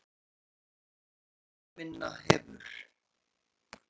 MÓÐIR BARNANNA MINNA HEFUR